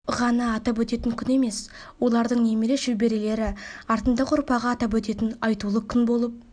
ғана атап өтетін күн емес олардың немере шөберелері артындағы ұрпағы атап өтетін айтулы күн болып